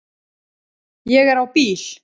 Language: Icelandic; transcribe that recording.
Ég er á bíl